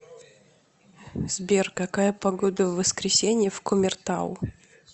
сбер какая погода в воскресенье в кумертау